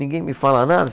Ninguém me fala nada?